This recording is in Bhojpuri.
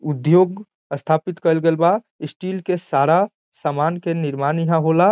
उद्योग स्थापित कइल गइल बा स्टील के सारा समान के निर्माण यहां होला।